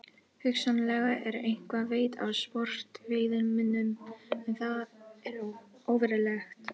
Hugsanlega er eitthvað veitt af sportveiðimönnum en það er óverulegt.